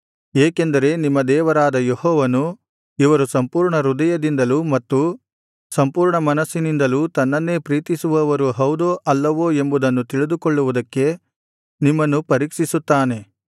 ಏಕೆಂದರೆ ನಿಮ್ಮ ದೇವರಾದ ಯೆಹೋವನು ಇವರು ಸಂಪೂರ್ಣ ಹೃದಯದಿಂದಲೂ ಮತ್ತು ಸಂಪೂರ್ಣ ಮನಸ್ಸಿನಿಂದಲೂ ತನ್ನನ್ನೇ ಪ್ರೀತಿಸುವವರು ಹೌದೋ ಅಲ್ಲವೋ ಎಂಬುದನ್ನು ತಿಳಿದುಕೊಳ್ಳುವುದಕ್ಕೆ ನಿಮ್ಮನ್ನು ಪರೀಕ್ಷಿಸುತ್ತಾನೆ